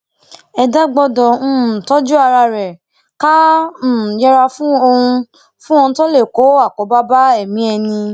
ẹdá gbọdọ um tọjú ara ẹ ká um yẹra fún ohun fún ohun tó lè kó wàhálà bá okùn ẹmí ẹni